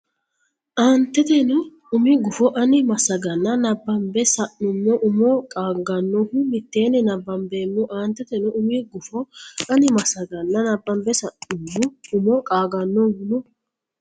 Aanteteno umi gufo ani massaganna nabbambe sa nummo umo qaagannohu mitteenni nabbambeemmo Aanteteno umi gufo ani massaganna nabbambe sa nummo umo qaagannohu.